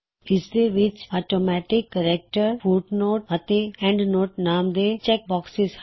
ਇਸ ਦੇ ਵਿੱਚ ਔਟੋਮੈਟਿਕ ਕੇਰੈਕਟਰ ਫੁੱਟਨੋਟ ਅਤੇ ਐੱਨਡਨੋਟ ਨਾਮ ਦੇ ਚੈੱਕ ਬੌਕਸਿਜ਼ ਹਨ